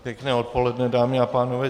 Pěkné odpoledne, dámy a pánové.